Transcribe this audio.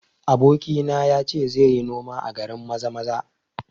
Abokina ya ce zai yi noma a garin Maza-maza